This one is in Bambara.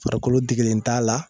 Farikolo degelen t'a la